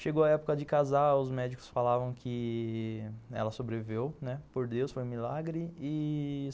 Chegou a época de casar, os médicos falavam que ela sobreviveu, né, por Deus, foi um milagre.